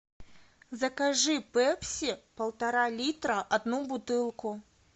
закажи пепси полтора литра одну бутылку